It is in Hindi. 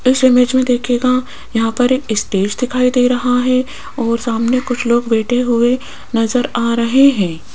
इस इमेज में देखिएगा यहां पर एक स्टेज दिखाई दे रहा है और सामने कुछ लोग बैठे हुए नजर आ रहे है।